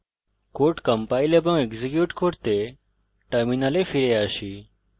code compile এবং execute করতে terminal ফিরে আসি